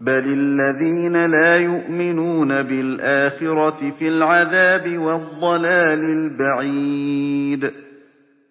بَلِ الَّذِينَ لَا يُؤْمِنُونَ بِالْآخِرَةِ فِي الْعَذَابِ وَالضَّلَالِ الْبَعِيدِ